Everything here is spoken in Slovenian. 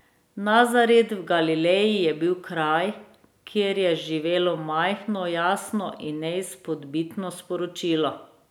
Nazaret v Galileji je bil kraj, kjer je živelo majhno, jasno in neizpodbitno sporočilo.